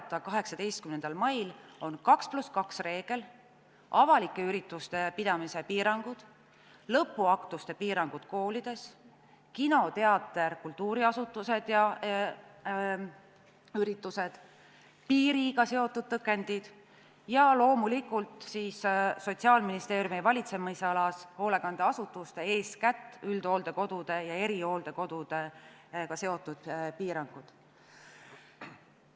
Soov on 18. mail jätkata 2 + 2 reegliga, avalike ürituste pidamise piirangutega, lõpuaktuste piirangutega koolides, kino, teatri, kultuuriasutuste ja ürituste piirangutega, piiriga seotud tõkenditega ja loomulikult Sotsiaalministeeriumi valitsemisalas hoolekandeasutuste, eeskätt üldhooldekodude ja erihooldekodudega seotud piirangutega.